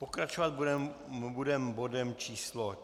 Pokračovat budeme bodem číslo